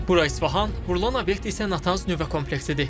Bura İsfahan, vurulan obyekt isə Natanz nüvə kompleksidir.